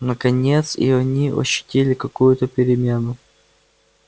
наконец и они ощутили какую-то перемену